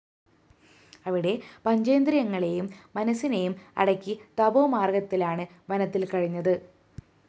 അവിടെ പഞ്ചേന്ദ്രിയങ്ങളേയും മനസ്സിനെയും അടക്കി തപോമാര്‍ഗത്തിലാണ് വനത്തില്‍ കഴിഞ്ഞത്